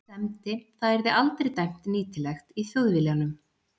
semdi- það yrði aldrei dæmt nýtilegt í Þjóðviljanum.